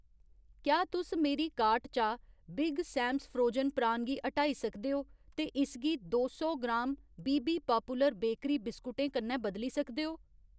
क्या तुस मेरी कार्ट चा बिग सैमस फ्रोजन प्रान गी हटाई सकदे ओ ते इसगी दो सौ gram B B popular bakery बिस्कुटें कन्नै बदली सकदे ओ?